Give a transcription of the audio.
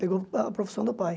Pegou a profissão do pai.